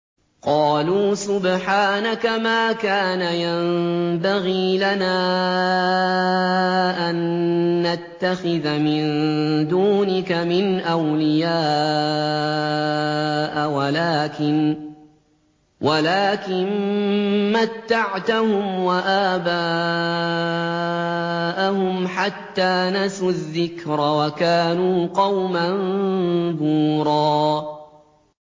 قَالُوا سُبْحَانَكَ مَا كَانَ يَنبَغِي لَنَا أَن نَّتَّخِذَ مِن دُونِكَ مِنْ أَوْلِيَاءَ وَلَٰكِن مَّتَّعْتَهُمْ وَآبَاءَهُمْ حَتَّىٰ نَسُوا الذِّكْرَ وَكَانُوا قَوْمًا بُورًا